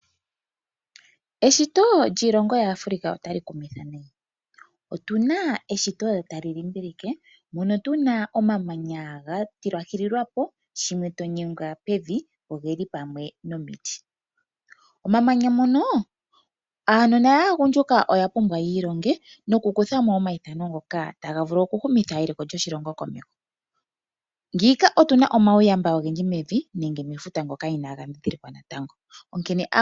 Eshito lyiilongo yaAfrica otali kumitha nayi. Otuna eshito tali limbilike mono tuna omamanya ga tilwahililwapo shimwe to nyengwa pevi, ogeli pamwe nomiti. Momamanya mono aanona yaagundjula oya pumbwa ya ilonge nokukuthamo omayithano ngoka taga vulu okuhumitha eliko lyoshilongo komeho. Ngiima otuna omauyamba ogendji mevi nenge mefuta ngoka inaga dhidhilikwa natango.